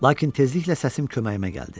Lakin tezliklə səsim köməyimə gəldi.